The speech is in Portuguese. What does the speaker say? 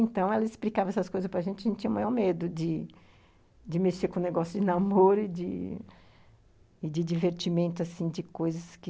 Então, ela explicava essas coisas para gente e a gente não tinha o maior medo de de mexer com o negócio de namoro e de divertimento, assim, de coisas que...